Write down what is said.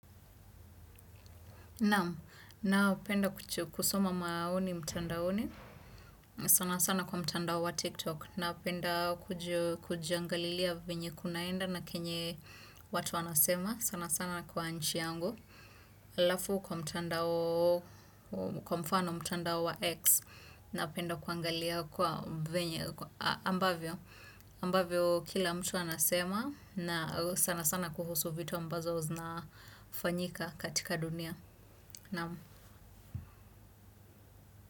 Napenda kusoma maoni mtandaoni. Sana sana kwa mtandao wa TikTok. Napenda kujiangalilia venye kunaenda na kenye watu wanasema. Sana sana kwa nchi yangu. Halafu kwa mtandao, kwa mfano mtandao wa X. Napenda kuangalia kwa venye. Ambavyo kila mtu anasema. Na sana sana kuhusu vitu ambazo zinafanyika katika dunia. No.